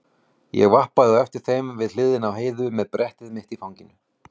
Ég vappaði á eftir þeim við hliðina á Heiðu með brettið mitt í fanginu.